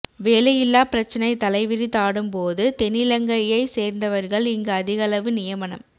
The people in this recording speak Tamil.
வேலையில்லா பிரச்சினை தலைவிரிதாடும் போது தென்னிலங்கையை சேர்ந்தவர்கள் இங்கு அதிகளவு நியமனம்